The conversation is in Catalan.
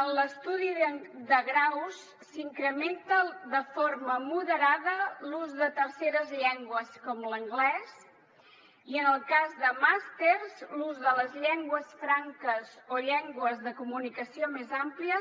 en l’estudi de graus s’incrementa de forma moderada l’ús de terceres llengües com l’anglès i en el cas de màsters l’ús de les llengües franques o llengües de comunicació més àmplies